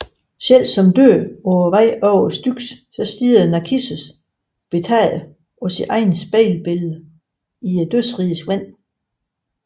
Selv som død på vej over Styx stirrede Narkissos betaget på sit spejlbillede i dødsrigets vand